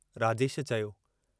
राजेश चयो।